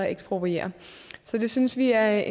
ekspropriere så vi synes det er